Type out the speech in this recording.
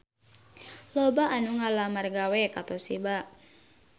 Loba anu ngalamar gawe ka Toshiba